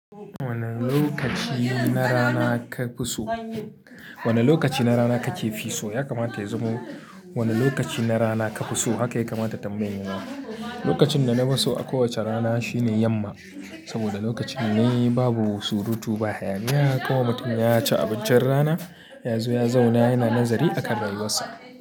Wane lokaci na rana kafi so? Wane lokaci na rana kake fi so? Ya kamata ya zamo "wani lokaci na rana kafi so" haka ya kamata tambayan ya zama. Lokacin da na fi so a kowacce rana shine yamma, saboda lokacin ne babu surutu ba. Haya niya kawai mutum ya ci abincin rana, ya zo ya zauna yana nazari akan rayuwarsa.